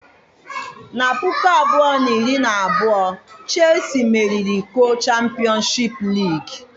Na puku abụọ na iri na abụọ Chelsii meriri iko Champịọnsụ Liigii.